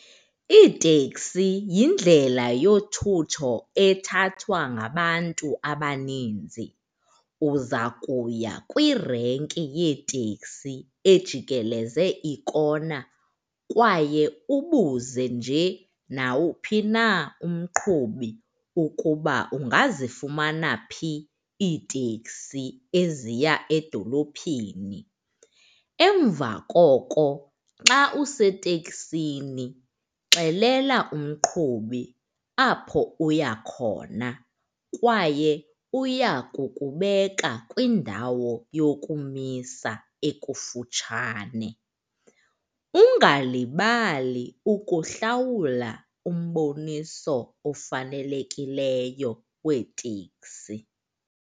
Iiteksi yindlela yothutho ethathwa ngabantu abaninzi. Uza kuya kwirenki yeeteksi ejikeleze ikona kwaye ubuze nje nawuphi na umqhubi ukuba ungazifumana phi iiteksi eziya edolophini. Emva koko, xa useteksini xelela umqhubi apho uya khona kwaye uya kukubeka kwindawo yokumisa ekufutshane. Ungalibali ukuhlawula umboniso ofanelekileyo weeteksi.